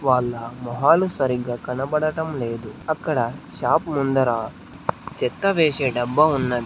వాళ్ల మొహాలు సరిగ్గా కనబడటం లేదు అక్కడ షాప్ ముందర చెత్త వేసే డబ్బా ఉన్నది.